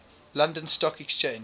london stock exchange